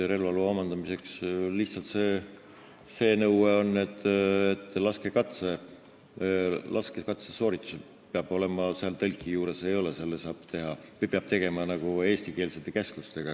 Relvaloa omandamisel on lihtsalt see nõue, et laskekatse sooritusel tõlki juures ei ole, seda peab tegema eestikeelsete käskluste alusel.